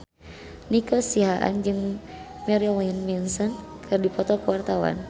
Nico Siahaan jeung Marilyn Manson keur dipoto ku wartawan